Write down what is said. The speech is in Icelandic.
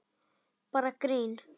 Bara grín!